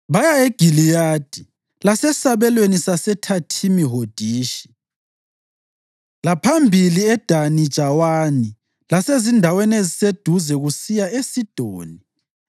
Baya eGiliyadi lasesabelweni saseThathimi Hodishi, laphambili eDani Jawani lasezindaweni eziseduze kusiya eSidoni.